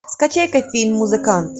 скачай ка фильм музыкант